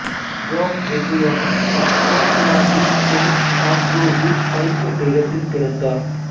jack Vettriano இசுக்கொட்லாந்தின் saint ஆண்ட்ரூஸில் Fife என்ற இடத்தில் பிறந்தார்